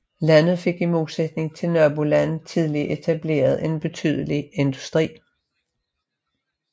Landet fik i modsætning til nabolandene tidligt etableret en betydelig industri